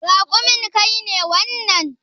Raƙumin ka ne wannan?